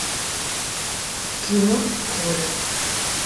кино колетт